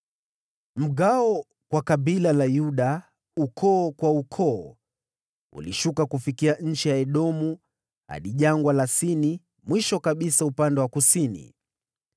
Mgawo kwa kabila la Yuda, ulienea ukoo kwa ukoo, ukishuka kufikia eneo la Edomu, hadi Jangwa la Sini mwisho kabisa upande wa kusini.